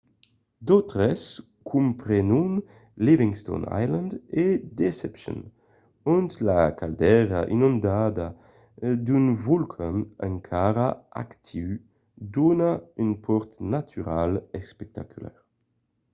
d'autres comprenon livingston island e deception ont la caldera inondada d'un volcan encara actiu dona un pòrt natural espectacular